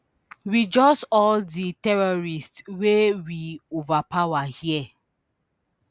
we just all di terrorists wey we overpower here